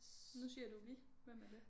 Nu siger du vi? Hvem er det?